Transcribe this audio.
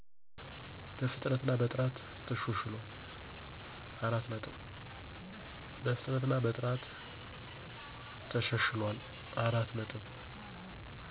በፍጥነት እና በጥራትም ተሻሽሏል።